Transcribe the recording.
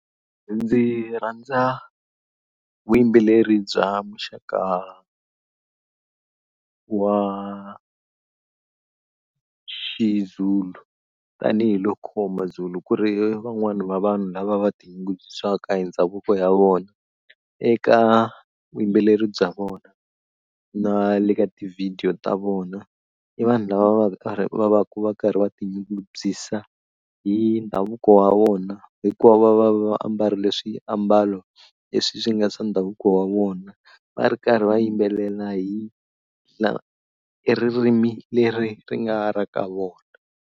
Ndzi rhandza vuyimbeleri bya muxaka wa xi Zulu tanihiloko Mazulu ku ri van'wani va vanhu lava va tinyungubyisaka hi ndhavuko ya vona eka vuyimbeleri bya vona na le ka tivhidiyo ta vona i vanhu lava va karhi va va ku va karhi va tinyungubyisa hi ndhavuko wa vona hikuva va va va ambarile swiambalo leswi swi nga swa ndhavuko wa vona va ri karhi va yimbelela hi ririmi leri ri nga ra ka vona.